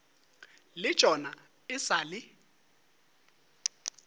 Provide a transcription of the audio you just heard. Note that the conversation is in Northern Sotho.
le tšona e sa le